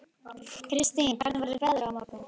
Kristine, hvernig verður veðrið á morgun?